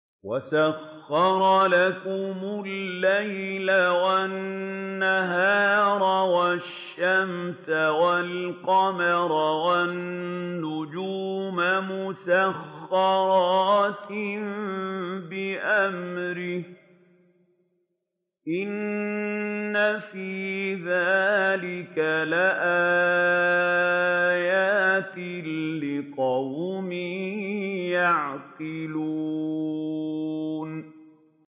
وَسَخَّرَ لَكُمُ اللَّيْلَ وَالنَّهَارَ وَالشَّمْسَ وَالْقَمَرَ ۖ وَالنُّجُومُ مُسَخَّرَاتٌ بِأَمْرِهِ ۗ إِنَّ فِي ذَٰلِكَ لَآيَاتٍ لِّقَوْمٍ يَعْقِلُونَ